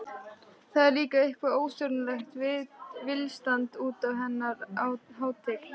Það er líka eitthvert óstjórnlegt tilstand útaf hennar hátign.